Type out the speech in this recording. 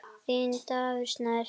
Þinn, Davíð Snær.